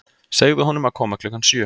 Segðu honum að koma klukkan sjö.